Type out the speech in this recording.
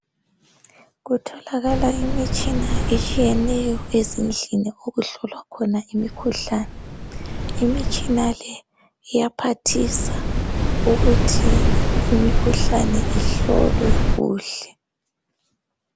Kutholakala imitshina etshiyeneyo ezindlini okuhlolwa khona imikhuhlane. Imitshina leyi iyaphathisa imikhuhlane ihlolwe kuhle.